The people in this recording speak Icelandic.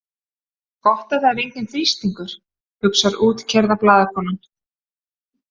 Gott að það er enginn þrýstingur, hugsar útkeyrða blaðakonan.